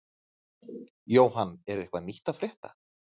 Jóhann, er eitthvað nýtt að frétta?